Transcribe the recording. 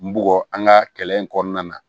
N bugɔ an ka kɛlɛ in kɔnɔna na